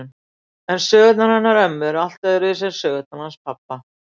En sögurnar hennar ömmu eru allt öðruvísi en sögurnar hans pabba.